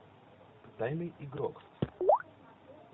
тайный игрок